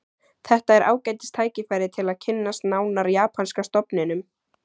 Þetta er ágætis tækifæri til að kynnast nánar japanska stofninum